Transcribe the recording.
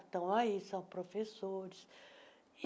Estão, aí são professores.